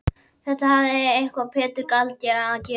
Þetta hafði eitthvað með Pétur gjaldkera að gera.